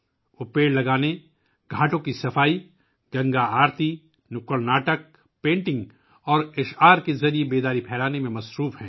وہ درخت لگانے، گھاٹوں کی صفائی، گنگا آرتی، اسٹریٹ ڈرامے، پینٹنگ اور نظموں کے ذریعے بیداری پھیلانے میں مصروف ہیں